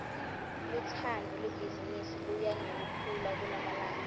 lutsandvo lwebhizimisi luya ngekukhula kulamalanga